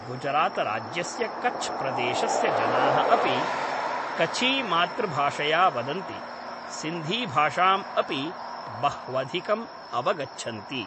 गुजरातराज्यस्य कच् प्रदेशस्य जनाः अपि कच्छीमातृभाषया वदन्ति, सिन्धीभाषाम् अपि बह्वधिकम् अवगच्छन्ति।